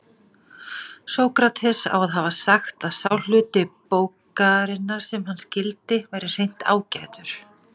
Sókrates á að hafa sagt að sá hluti bókarinnar sem hann skildi væri hreint ágætur.